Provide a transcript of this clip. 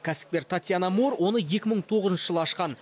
кәсіпкер татьяна моор оны екі мың тоғызыншы жылы ашқан